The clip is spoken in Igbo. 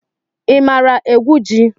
I maara egwu ji?